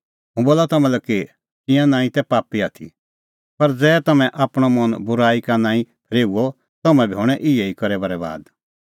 हुंह बोला तम्हां लै कि तिंयां नांईं तै पापी आथी पर ज़ै तम्हैं आपणअ मन बूराई का नांईं फरेओए तम्हैं बी हणैं इहै ई करै बरैबाद